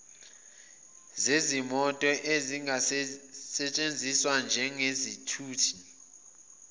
zezimoto ezingasesthenziswa njengezithuthi